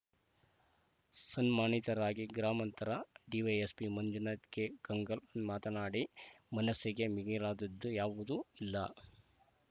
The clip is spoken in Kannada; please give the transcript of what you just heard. ಸನ್ಮಾನಿತರಾಗಿ ಗ್ರಾಮಾಂತರ ಡಿವೈಎಸ್ಪಿ ಮಂಜುನಾಥ ಕೆ ಗಂಗಲ್‌ ಮಾತನಾಡಿ ಮನಸ್ಸಿಗೆ ಮಿಗಿಲಾದದ್ದು ಯಾವುದೂ ಇಲ್ಲ